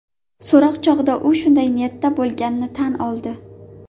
So‘roq chog‘ida u shunday niyatda bo‘lganini tan oldi.